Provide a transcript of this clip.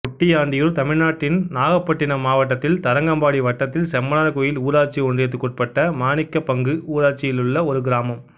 குட்டியாண்டியூர் தமிழ்நாட்டின் நாகப்பட்டினம் மாவட்டத்தில் தரங்கம்பாடி வட்டத்தில் செம்பனார் கோயில் ஊராட்சி ஒன்றியத்துக்குட்பட்ட மாணிக்கபங்கு ஊராட்சியிலுள்ள ஒரு கிராமம்